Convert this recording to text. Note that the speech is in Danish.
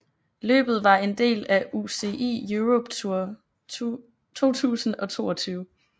Løbet var en del af UCI Europe Tour 2022